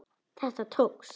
Þetta tókst.